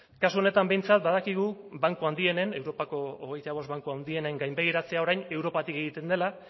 kasu honetan behintzat badakigu banku handienen europako hogeita bost banku handienen gainbegiratzea orain europatik egiten dela